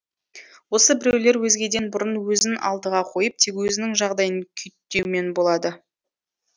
осы біреулер өзгеден бұрын өзін алдыға қойып тек өзінің жағдайын күйттеумен болады